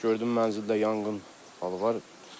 Gördüm mənzildə yanğın var.